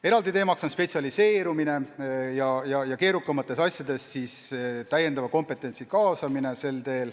Eraldi teema on spetsialiseerumine ja selle abil keerukates asjades täiendava kompetentsi kaasamine.